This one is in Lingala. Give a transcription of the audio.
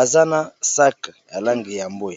aza na sac ya langi ya mbwe.